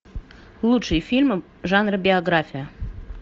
лучшие фильмы жанра биография